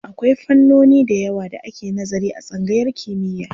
Akwai fannoni da yawa da ake nazari a tsangayar kimiyya.